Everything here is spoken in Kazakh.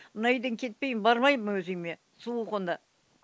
мына үйден кетпеймін бармаймын өз үйіме суық онда